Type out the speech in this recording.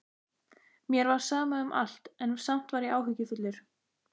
Mér var sama um allt, en samt var ég áhyggjufullur.